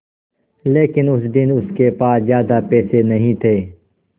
लेकिन उस दिन उसके पास ज्यादा पैसे नहीं थे